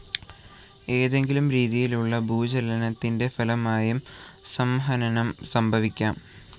ഏതെങ്കിലും രീതിയിലുള്ള ഭൂചലനത്തിൻ്റെ ഫലമായും സംഹനനം സംഭവിക്കാം.